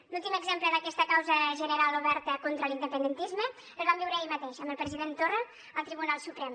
l’últim exemple d’aquesta causa general oberta contra l’independentisme el vam viure ahir mateix amb el president torra al tribunal suprem